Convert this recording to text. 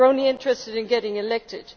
he is only interested in getting elected.